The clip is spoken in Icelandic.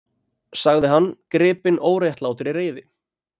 sagði hann, gripinn óréttlátri reiði.